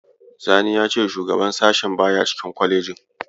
Sani ya ce shugaban sashen baya cikin kwalejin.